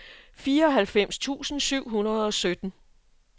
fireoghalvfems tusind syv hundrede og sytten